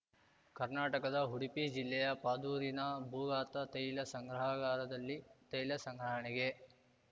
ಕರ್ನಾಟಕದ ಉಡುಪಿ ಜಿಲ್ಲೆಯ ಪಾದೂರಿನ ಭೂಗತ ತೈಲ ಸಂಗ್ರಹಾಗಾರದಲ್ಲಿ ತೈಲ ಸಂಗ್ರಹಣೆಗೆ